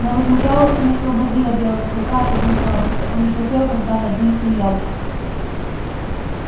но возмужалость не освободила белого клыка от одной слабости он не терпел когда над ним смеялись